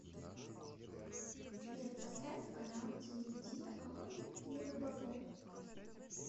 сбер поставь канал телевидения охотник и рыболов